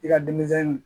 I ka denmisɛnnin